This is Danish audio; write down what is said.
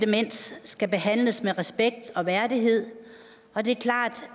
demens skal behandles med respekt og værdighed og det er klart